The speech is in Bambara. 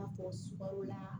I n'a fɔ sukaro la